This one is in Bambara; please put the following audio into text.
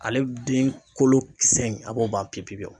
Ale den kolo kisɛ in a b'o ban pepepewu